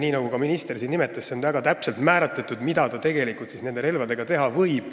Nii nagu ka minister siin nimetas, see on väga täpselt määratletud, mida ta siis tegelikult nende relvadega teha võib.